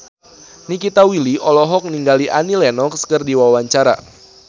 Nikita Willy olohok ningali Annie Lenox keur diwawancara